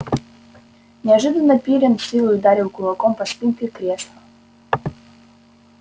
неожиданно пиренн с силой ударил кулаком по спинке кресла